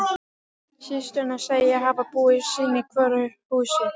Systurnar segjast hafa búið sín í hvoru húsi.